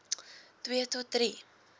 twee tot drie